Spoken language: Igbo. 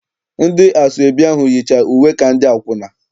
Ndị asọebi ahụ yicha uwe ka ndị akwụna.